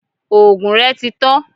òògùn rẹ tí tan